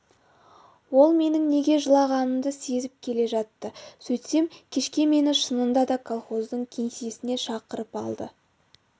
ол менің неге жылағанымды сезіп келе жатты сөйтсем кешке мені шынында да колхоздың кеңсесіне шақырып алды